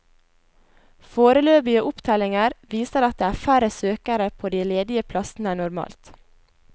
Foreløpige opptellinger viser at det er færre søkere på de ledige plassene enn normalt.